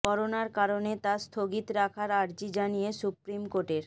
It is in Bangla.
করোনার কারণে তা স্থগিত রাখার আর্জি জানিয়ে সুপ্রিম কোর্টের